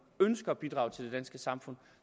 ønsker at bidrage til det danske samfund